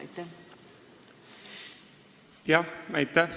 Aitäh!